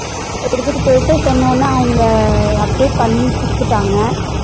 எடுத்துட்டு போயிட்டு சொன்னவுன அவங்க update பண்ணி குடுத்தாட்டாங்க